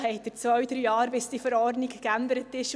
Es dauert zwei bis drei Jahre, bis die Verordnung geändert